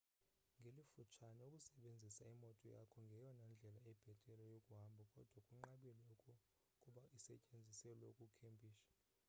ngelifutshane ukusebenzisa imoto yakho ngeyona ndlela ibhethele yokuhamba kodwa kunqabile ukuba isetyenziselwe ukukhempisha